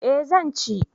Eh zan ci